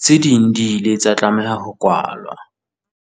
Tse ding di ile tsa tlameha ho kwalwa.